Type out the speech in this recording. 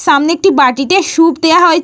সামনে একটি বাটিতে স্যুপ দেওয়া হয়ে --